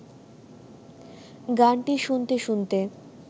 গানটি শুনতে শুনতে